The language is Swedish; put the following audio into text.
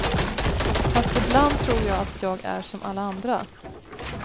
Fast ibland tror jag att jag är som alla andra.